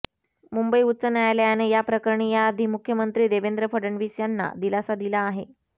मुंबई उच्च न्यायालयाने या प्रकरणी याआधी मुख्यमंत्री देवेंद्र फडणवीस यांना दिलासा दिला आहे